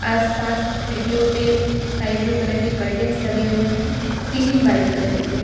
आसपास खिड़कियों पे स्काई ब्लू कलर की कर्टेन्स लगे हुए हैं सीलिंग व्हाइट कलर की है।